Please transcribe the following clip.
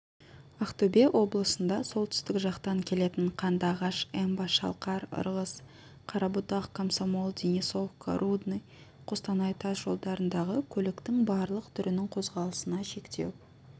ақтөбе облысында солтүстік жақтан келетін қандыағаш эмба шалқар ырғыз қарабұтақ комсомол денисовка рудный қостанай тас жолдарындағы көліктің барлық түрінің қозғалысына шектеу